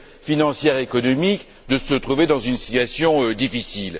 financière économique, de se trouver dans une situation difficile.